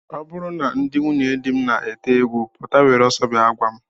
Ọ bụrụ na ndị nwunyedi m na-ete egwu pụta, were ọsọ bịa gwa m!